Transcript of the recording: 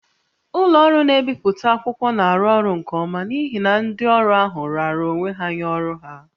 Ụlọ ọrụ na-ebipụta akwụkwọ na-arụ ọrụ nke ọma n'ihi na ndị ọrụ ahụ raara onwe ha nye ọrụ ha